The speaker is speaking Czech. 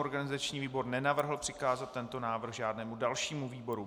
Organizační výbor nenavrhl přikázat tento návrh žádnému dalšímu výboru.